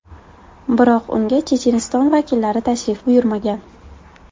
Biroq unga Checheniston vakillari tashrif buyurmagan.